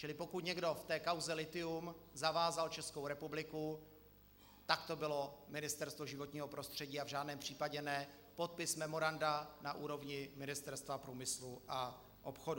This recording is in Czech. Čili pokud někdo v té kauze lithium zavázal Českou republiku, tak to bylo Ministerstvo životního prostředí, a v žádném případě ne podpis memoranda na úrovni Ministerstva průmyslu a obchodu.